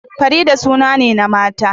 Farida suna ne na mata